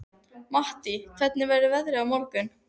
Mattý, hvernig er veðrið á morgun?